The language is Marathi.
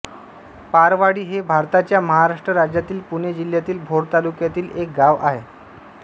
पारवाडी हे भारताच्या महाराष्ट्र राज्यातील पुणे जिल्ह्यातील भोर तालुक्यातील एक गाव आहे